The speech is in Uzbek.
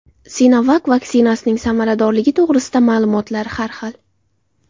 Sinovac vaksinasining samaradorligi to‘g‘risidagi ma’lumotlar har xil.